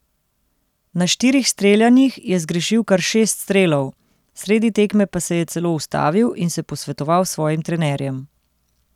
Na štirih streljanjih je zgrešil kar šest strelov, sredi tekme pa se je celo ustavil in se posvetoval s svojim trenerjem.